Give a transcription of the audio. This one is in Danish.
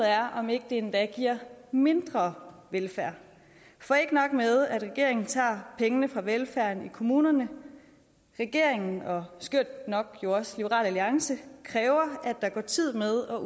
er om ikke det endda giver mindre velfærd for ikke nok med at regeringen tager pengene fra velfærden i kommunerne men regeringen og skørt nok liberal alliance kræver at der går tid med at